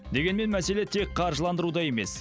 дегенмен мәселе тек қаржыландыруда емес